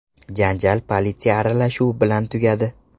Janjal politsiya aralashuvi bilan tugadi.